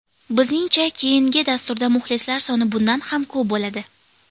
Bizningcha keyindi dasturda muxlislar soni bundan ham ko‘p bo‘ladi.